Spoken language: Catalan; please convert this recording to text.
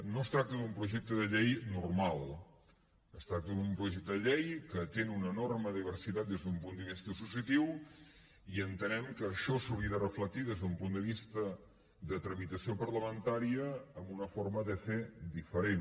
no es tracta d’un projecte de llei normal es tracta d’un projecte de llei que atén una enorme diversitat des d’un punt de vista associatiu i entenem que això s’hauria de reflectir des d’un punt de vista de tramitació parlamentària en una forma de fer diferent